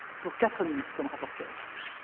Dziękuję bardzo Pani Przewodnicząca!